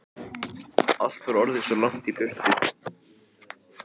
Allt var orðið svo langt í burtu.